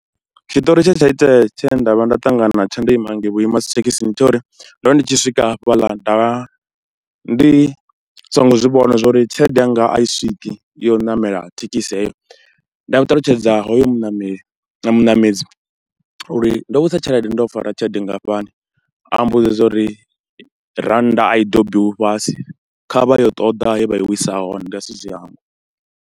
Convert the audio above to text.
Tshiṱori tshe tsha itea tshe nda vha nda ṱangana natsho ndo ima ngei vhuima dzi thekisini ndi tsha uri, ndo ri ndi tshi swika hafhaḽa nda vha ndi songo zwi vhona zwo uri tshelede yanga a i swiki ya u ṋamela thekhisi heyo, nda ṱalutshedza hoyo muṋameli, muṋamedzi uri ndo wisa tshelede, ndo fara tshelede nngafhani, a mmbudza zwa uri rannda a i dobiwi fhasi kha vha ye u ṱoḓa he vha i wisa hone, ndi a si zwi hangwe.